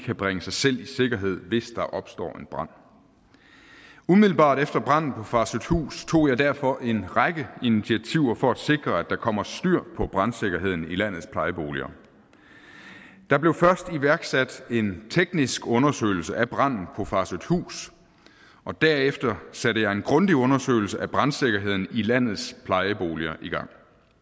kan bringe sig selv i sikkerhed hvis der opstår en brand umiddelbart efter branden på farsøhthus tog jeg derfor en række initiativer for at sikre at der kommer styr på brandsikkerheden i landets plejeboliger der blev først iværksat en teknisk undersøgelse af branden på farsøhthus og derefter satte jeg en grundig undersøgelse af brandsikkerheden i landets plejeboliger i gang